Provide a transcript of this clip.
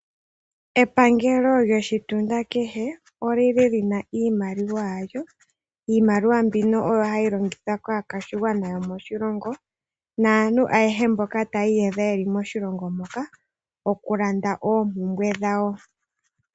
Epangelo lyoshitunda kehe oli li li na iimaliwa yalyo. Iimaliwa mbino oyo hayi longithwa kaakwashigwana yomoshilongo naantu ayehe mboka taya iyadha ye li moshilongo moka okulanda oompumbwe dhawo.